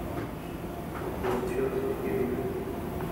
футбол челси и ливерпуль